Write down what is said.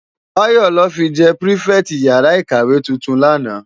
Bayo lò fi jè pirifèti iyàrá ikáwé tútún làná